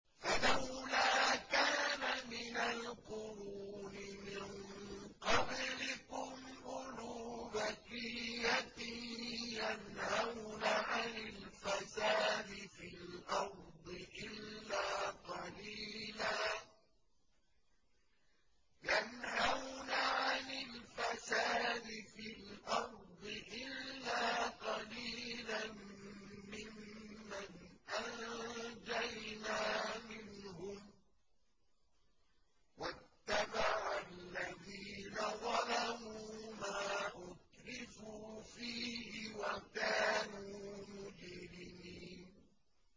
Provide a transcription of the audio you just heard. فَلَوْلَا كَانَ مِنَ الْقُرُونِ مِن قَبْلِكُمْ أُولُو بَقِيَّةٍ يَنْهَوْنَ عَنِ الْفَسَادِ فِي الْأَرْضِ إِلَّا قَلِيلًا مِّمَّنْ أَنجَيْنَا مِنْهُمْ ۗ وَاتَّبَعَ الَّذِينَ ظَلَمُوا مَا أُتْرِفُوا فِيهِ وَكَانُوا مُجْرِمِينَ